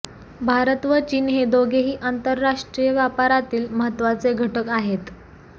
भारत व चीन हे दोघेही आंतरराष्ट्रीय व्यापारातील महत्त्वाचे घटक आहेत